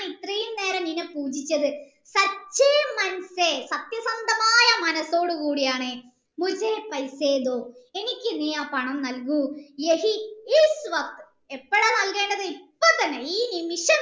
ഞാൻ ഇത്രെയും നിന്നെ പൂജിച്ചത് സാന്ത്യസന്ധമായ മനസ്സ് ഓടിക്കൂടിയാണ് എനിക്ക് നീ ആ പണം നൽകു എപ്പോഴാ ഇപ്പൊ തന്നെ ഈ നിമിഷം തന്നെ